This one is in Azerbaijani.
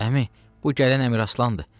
Əmi, bu gələn Əmiraslandı.